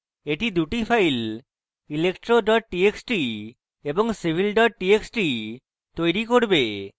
এটি দুটি files electro txt এবং civil txt তৈরী করবে